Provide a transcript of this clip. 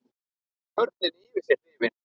Börnin yfir sig hrifin.